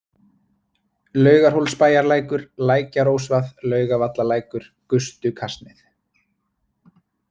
Laugarhólsbæjarlækur, Lækjarósvað, Laugavallalækur, Gustukasneið